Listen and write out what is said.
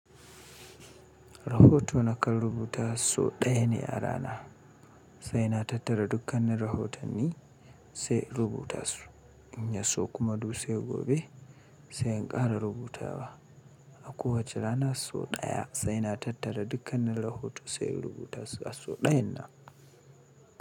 Rahoto na kan rubuta so ɗaya ne yara na, sai na tattara dukkanin rahotonni sai rubuta su. In ya so kuma duse gobe sai in ƙara rubuta wa A kowace rana so ɗaya sai na tattara dukkanin rahoto sai rubuta su a so ɗayan na.